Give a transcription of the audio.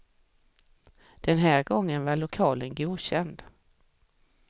Den här gången var lokalen godkänd.